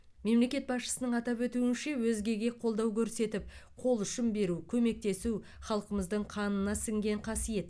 мемлекет басшысының атап өтуінше өзгеге қолдау көрсетіп қол ұшын беру көмектесу халқымыздың қанына сіңген қасиет